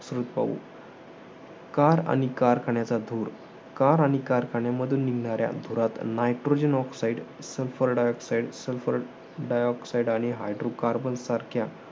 पाहू. Car आणि कारखान्याचा धुर. Car आणि कारखान्यामधून निघणाऱ्या धुरात nitrogen oxide, sulfur dioxide, sulfur dioxide आणि hydrocarbon सारख्या